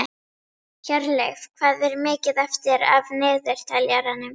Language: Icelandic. Hjörleif, hvað er mikið eftir af niðurteljaranum?